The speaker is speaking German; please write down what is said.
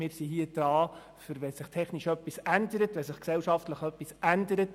Wir sind dazu da, die Gesetze anzupassen, wenn sich technisch und gesellschaftlich etwas ändert.